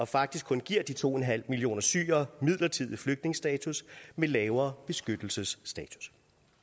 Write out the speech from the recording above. faktisk kun giver de to millioner syrere midlertidig flygtningestatus med lavere beskyttelsesstatus